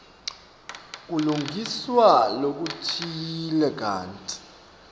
kulungiswa lokutsite kantsi